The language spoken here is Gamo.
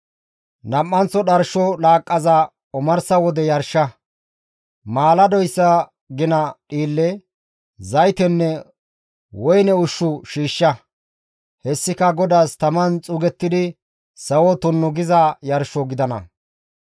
Nam7anththo dharsho laaqqaza omarsa wode yarsha. Maaladoyssa gina dhiille, zaytenne woyne ushshu shiishsha. Hessika GODAAS taman xuugettidi sawo tunnu giza yarsho gidana.